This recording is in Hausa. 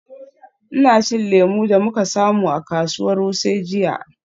Ina cin lemu da muka samu a kasuwar Wuse jiya.